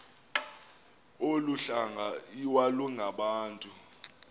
olu hlanga iwalungabantu